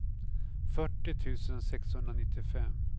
fyrtio tusen sexhundranittiofem